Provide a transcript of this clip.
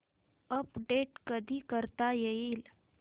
update कधी करता येईल